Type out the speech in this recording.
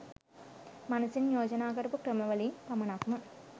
මනසින් යෝජනා කරපු ක්‍රම වලිං පමණක්ම